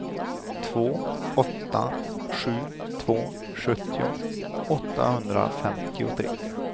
två åtta sju två sjuttio åttahundrafemtiotre